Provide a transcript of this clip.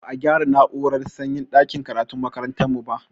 Ba a gyara na'urar sanyin ɗakin karatun makarantar mu ba